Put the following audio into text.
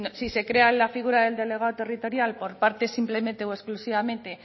si se crea la figura del delegado territorial por parte simplemente o exclusivamente